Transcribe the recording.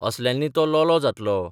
असल्यांनी तो लोलो जातलो.